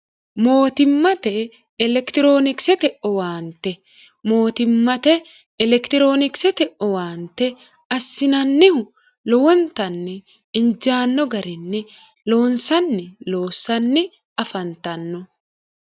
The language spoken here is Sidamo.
mootimmate elekitiroonikisete owaante mootimmate elekitiroonikisete owaante assinannihu lowontanni injaanno garinni loonsanni loossanni afantanno